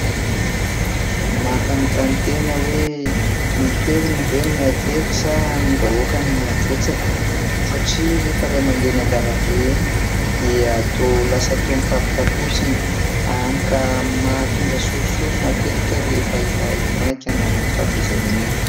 Mampanontany tena hoe ny toerana ve no mihatery sa ny vahoaka no mihabetsaka, satria rehefa ilay mandeha eny an-dalambe eny dia toa lasa toa mifampitakosina hany ka mahatonga sorisory matetika rehefa maika na anaty fahatezerana iny.